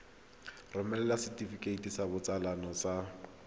romela setefikeiti sa botsalo sa